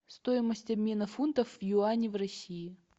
стоимость обмена фунтов в юани в россии